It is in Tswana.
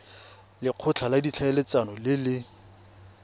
lekgotla la ditlhaeletsano le le